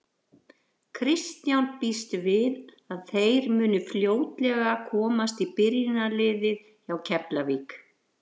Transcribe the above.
Kristján býst við að þeir muni fljótlega komast í byrjunarliðið hjá Keflavík.